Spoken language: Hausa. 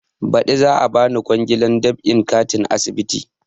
Baɗi za a bani kwangilar dab'in katin asibiti